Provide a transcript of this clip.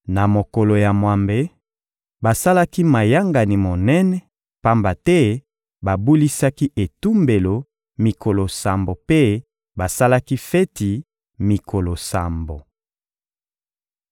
Na mokolo ya mwambe, basalaki mayangani monene, pamba te babulisaki etumbelo mikolo sambo mpe basalaki feti mikolo sambo.